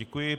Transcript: Děkuji.